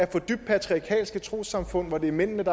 dybt patriarkalske trossamfund hvor det er mændene